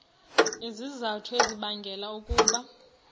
izizathu ezibangela ukuba